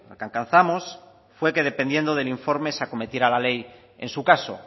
que alcanzamos fue que dependiendo del informe se acometiera la ley en su caso